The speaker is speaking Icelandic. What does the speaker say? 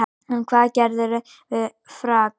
En hvað gerðirðu við frakkann?